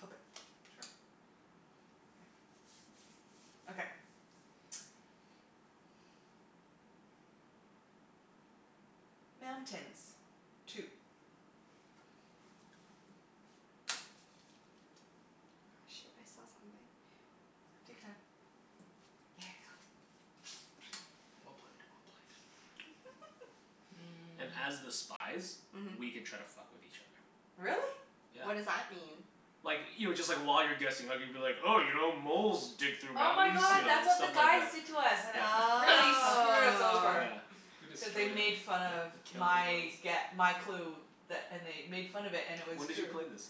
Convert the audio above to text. Flip it. Sure. Yeah. Okay. Mountains. Two. Oh, shit. I saw something. Take your time. Yeah. Well played. Well played. Mm. And as the spies Mhm. We can try to fuck with each other. Really? Yeah. What does that mean? Like, you know, just like while you're guessing I could be like, 'Oh, you know, moles dig through Oh my mountains." You god, know? that's what the Stuff like guys that. did to us and it Yeah. fu- really screwed us Oh. over. Yeah. We destroyed Cuz they them. made fun of We killed my the girls. gue- my clue. That and they made fun of it, and it was When did true. you play this?